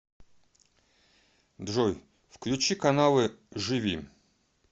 джой включи каналы живи